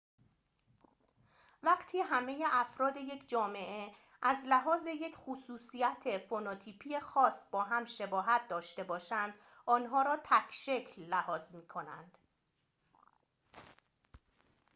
وقتی همه افراد یک جامعه از لحاظ یک خصوصیت فنوتیپی خاص با هم شباهت داشته باشند آنها را تک‌شکل لحاظ می‌کنند